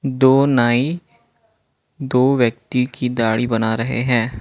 दो नाई दो व्यक्ति की दाढ़ी बना रहे है।